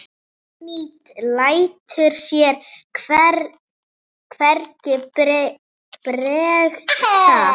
Oddný lætur sér hvergi bregða.